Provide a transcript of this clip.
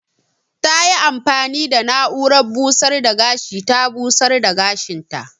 Ta yi amfani da na'urar busar da gashi ta busar da gashin ta.